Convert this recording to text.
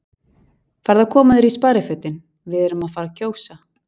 Farðu að koma þér í sparifötin, við erum að fara að kjósa